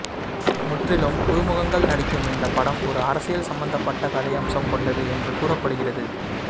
முற்றிலும் புதுமுகங்கள் நடிக்கும் இந்த படம் ஒரு அரசியல் சம்பந்தப்பட்ட கதையம்சம் கொண்டது என்று கூறப்படுகிறது